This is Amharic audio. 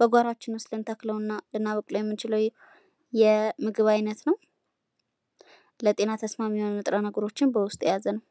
በጓሯችን ውስጥ ልንተክለው እና ልናበቅለው የምንችለው የምግብ አይነት ነው። ለጤና ተስማሚ የሆኑ ንጥረ ነገሮችን በውስጡ የያዘ ነው።